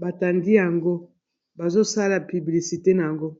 batandi yango bazosala publicite na yango.